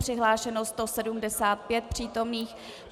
Přihlášeno 175 přítomných.